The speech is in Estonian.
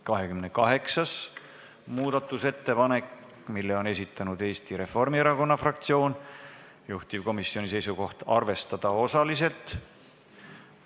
28. muudatusettepaneku on esitanud Eesti Reformierakonna fraktsioon, juhtivkomisjoni seisukoht: arvestada seda osaliselt.